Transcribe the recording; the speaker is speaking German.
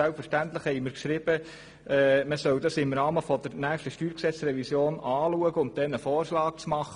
Selbstverständlich haben wir geschrieben, man solle den Vorstoss im Rahmen der nächsten Steuergesetzrevision behandeln und anschliessend einen Vorschlag machen.